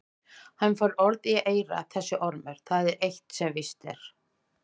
Hann fær orð í eyra þessi ormur, það er eitt sem víst er.